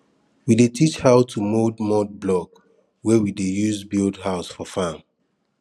we dey teach how to mould mud block wey we dey use build house for farm